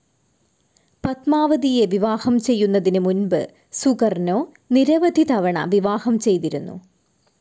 പത്മാവതിയെ വിവാഹം ചെയ്യുന്നതിന് മുൻപ് സുകർനോ നിരവധി തവണ വിവാഹം ചെയ്തിരുന്നു.